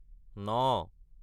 ন